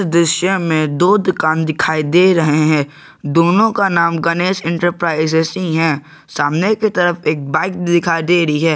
दृश्य में दो दुकान दिखाई दे रहे हैं दोनों का नाम गणेश इंटरप्राइजेज ही हैं सामने की तरफ एक बाइक दिखाई दे रही है।